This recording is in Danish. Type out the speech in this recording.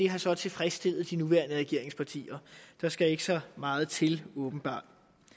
har så tilfredsstillet de nuværende regeringspartier der skal ikke så meget til åbenbart